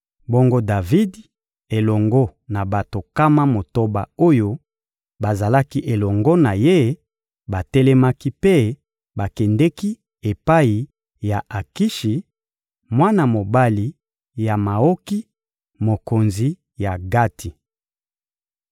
Bongo Davidi elongo na bato nkama motoba oyo bazalaki elongo na ye batelemaki mpe bakendeki epai ya Akishi, mwana mobali ya Maoki, mokonzi ya Gati.